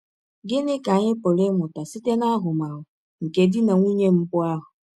Gịnị ka anyị pụrụ ịmụta site n’ahụmahụ nke di na nwụnye mbụ ahụ?